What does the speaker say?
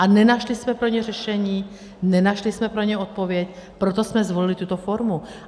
A nenašli jsme pro ně řešení, nenašli jsme pro ně odpověď, proto jsme zvolili tuto formu.